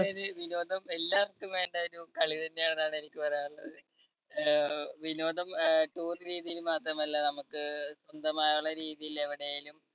വിനോദം എല്ലാവർക്കും വേണ്ട ഒരു കളി തന്നെയാണെന്നാണ് എനിക്ക് പറയാനുള്ളത്. അഹ് വിനോദം അഹ് tour രീതിയിൽ മാത്രമല്ല നമുക്ക് സ്വന്തമായ രീതിയിൽ എവിടെലും